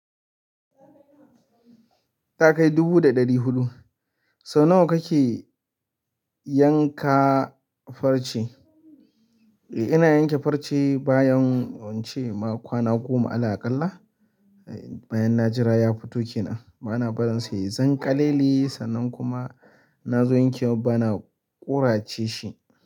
Ta kai dubu da ɗari huɗu. Sau nawa kake yanka farce? Eh, ina yanke farce bayan ince ma kwana goma ala aƙalla, bayan na jira ya fito kenan. Bana barin sa, yai zanƙalele sannan kuma in na zo yankewan bana ƙurace shi.